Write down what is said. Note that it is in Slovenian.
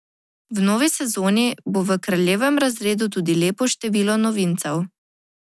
Na delavnici bodo v ospredju štiri direktive, ki so v obravnavi.